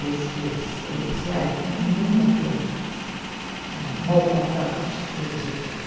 Esses oficiais nunca foram maltratados pelo Getúlio.